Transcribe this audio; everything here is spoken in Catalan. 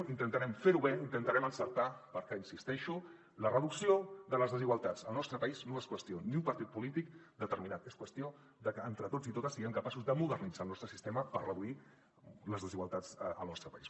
intentarem fer ho bé intentarem encertar perquè hi insisteixo la reducció de les desigualtats al nostre país no és qüestió d’un partit polític determinat és qüestió de que entre tots i totes siguem capaços de modernitzar el nostre sistema per reduir les desigualtats al nostre país